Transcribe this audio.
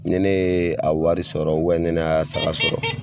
Ni ne ye a wari sɔrɔ ubiyɛn ni ne ye a saga sɔrɔ